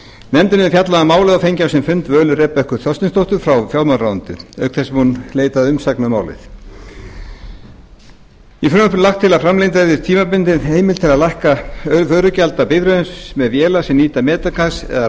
nefndin hefur fjallað um málið og fengið á sinn fund völu rebekku þorsteinsdóttur frá fjármálaráðuneytinu auk þess sem hún leitaði umsagna um um málið í frumvarpinu er lagt til að framlengd verði tímabundin heimild til að lækka vörugjald af bifreiðum með vélar sem nýta metangas eða